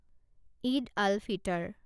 Eid al Fitr